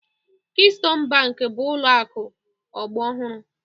Keystone Bank bụ ụlọ akụ ọgbọ ọhụrụ